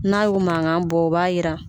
N'a y'o mankan bɔ o b'a yira